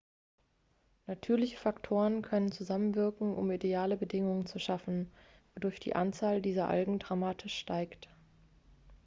natürliche faktoren können zusammenwirken um ideale bedingungen zu schaffen wodurch die anzahl dieser algen dramatisch ansteigt